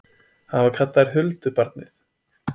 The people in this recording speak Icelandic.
Hann var kallaður huldubarnið?